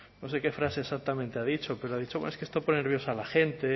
no sé qué frase exactamente ha dicho pero ha dicho es que esto pone nerviosa la